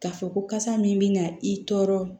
K'a fɔ ko kasa min bɛ na i tɔɔrɔ